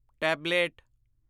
tablet